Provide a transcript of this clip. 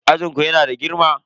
Ajin ku yana da girma?